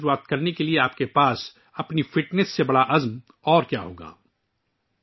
2024 شروع کرنے کے لیے آپ کی اپنی فٹنس سے بڑا عزم کیا ہو سکتا ہے؟